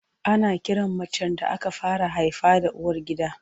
Ana kiran macen da aka fara haifa da uwargida.